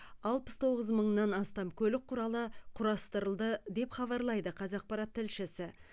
алпыс тоғыз мыңнан астам көлік құралы құрастырылды деп хабарлайды қазақпарат тілшісі